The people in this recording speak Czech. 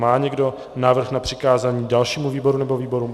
Má někdo návrh na přikázání dalšímu výboru nebo výborům?